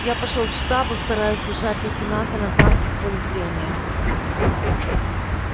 я пошёл к штабу стараясь держать лейтенанта на танке в поле зрения